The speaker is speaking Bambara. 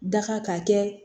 Daga ka kɛ